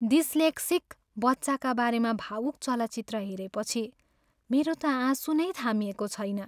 Dyslexic बच्चाका बारेमा भावुक चलचित्र हेरेपछि मेरो त आँसु नै थामिएको छैन।